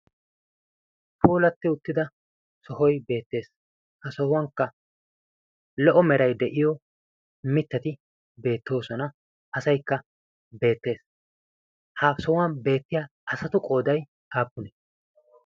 Puulatti uttida sohoy beettees. Ha sohuwankka lo'o meray de'iyo mittati beettoosona, asaykka beettees, Ha sohuwan beettiya asatu qooday aappunne?